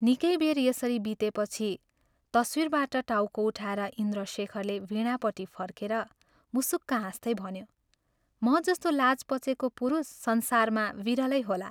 निकै बेर यसरी बितेपछि तस्वीरबाट टाउको उठाएर इन्द्रशेखरले वीणापट्टि फर्केर मुसुक्क हाँस्दै भन्यो, " म जस्तो लाज पचेको पुरुष संसारमा विरलै होला।